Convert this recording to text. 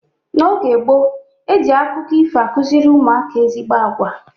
N'oge gboo, eji akụkọ ifo akụziri ụmụaka ezigbo agwa.